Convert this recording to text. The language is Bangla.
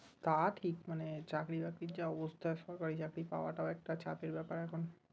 তা ঠিক মানে চাকরি বাকরির যা অবস্থা সরকারি চাকরি পাওয়াটা একটা চাপের ব্যাপার এখন